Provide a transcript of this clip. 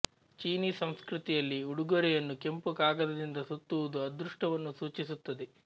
ಚೀನೀ ಸಂಸ್ಕೃತಿಯಲ್ಲಿ ಉಡುಗೊರೆಯನ್ನು ಕೆಂಪು ಕಾಗದದಿಂದ ಸುತ್ತುವುದು ಅದೃಷ್ಟವನ್ನು ಸೂಚಿಸುತ್ತದೆ